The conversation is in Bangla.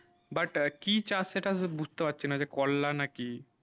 but কি চাষ সেটা বুঝতে পারছি না যে করলা না কি